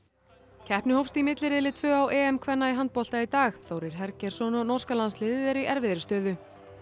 keppni hófst í milliriðli tvö á kvenna í handbolta í dag Þórir Hergeirsson og norska landsliðið eru í erfiðri stöðu